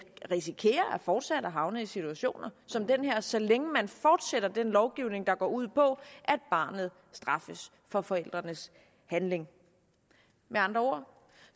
risikerer fortsat at havne i situationer som den så længe man fortsætter den lovgivning der går ud på at barnet straffes for forældrenes handling med andre ord